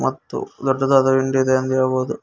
ಮತ್ತು ದೊಡ್ಡದಾದ ಇಂಡು ಇದೆ ಎಂದು ಹೇಳಬಹುದು.